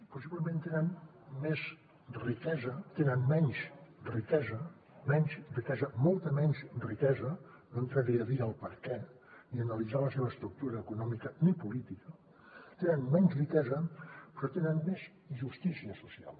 possiblement tenen menys riquesa menys riquesa molta menys riquesa no entraré a dir el perquè ni a analitzar la seva estructura econòmica ni política tenen menys riquesa però tenen més justícia social